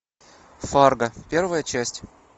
фарго первая часть